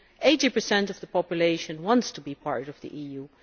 80 of the population wants to be part of the EU.